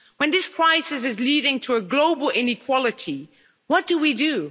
When this crisis is leading to a global inequality, what do we do?